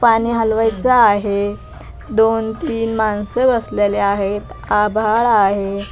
पाणी हलवायच आहे दोन तीन माणसं बसलेले आहेत आभाळ आहे.